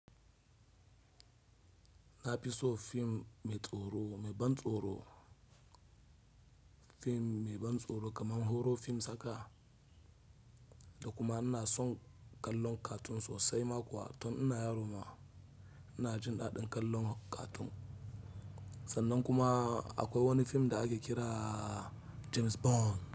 Na fi so film mai tsoro, mai ban tsoro, film mai ban tsoro kamar horo film saka. Da kuma ina son kallon cartoon sosai ma kuwa tun ina yaro ma ina jin daɗin kallon cartoon. Sannan kuma akwai wani film da ake kira James Bond.